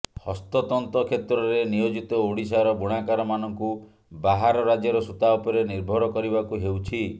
ହସ୍ତତନ୍ତ କ୍ଷେତ୍ରରେ ନିୟୋଜିତ ଓଡ଼ିଶାର ବୁଣାକାରମାନଙ୍କୁ ବାହାର ରାଜ୍ୟର ସୂତା ଉପରେ ନିର୍ଭର କରିବାକୁ ହେଉଛି